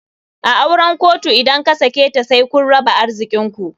A auren kotu idan kasaketa said kun raba arzikinku.